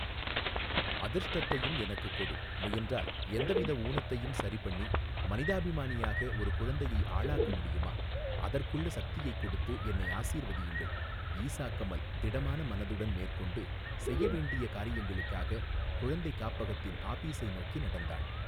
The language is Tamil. அதிர்ஷ்ட்டத்தையும் எனக்குக் கொடு முயன்றால் எந்த வித ஊனத்தையும் சரிபண்ணி மனிதாபிமானியாக ஒரு குழந்தையை ஆளாக்க முடியுமா அதர்க்குள்ள சக்தியைக்கொடுத்து என்னை ஆசீர்வதியுங்கள் ஈசா கமல் திடமான மனதுடன் மேற்க்கொண்டு செய்ய வேண்டிய காரியங்களுக்காக குழந்தை காப்பகத்தின் ஆபீஸை நோக்கி நடந்தாள்.